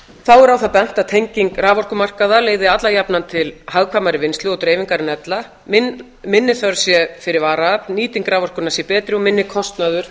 þá er á það bent að tenging raforkumarkaðar leiði alla jafnan til hagkvæmari vinnslu og dreifingar en ella minni þörf sé fyrir varaafl nýting raforkunnar sé betri og minni kostnaður